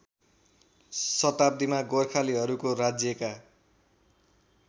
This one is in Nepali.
शताब्दीमा गोर्खालीहरूको राज्यका